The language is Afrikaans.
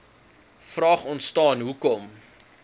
vraag ontstaan hoekom